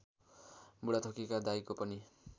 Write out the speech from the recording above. बुढाथोकीका दाइको पनि